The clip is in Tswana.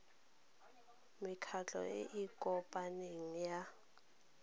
mekgatlho e e kopaneng ya